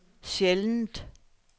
sjældent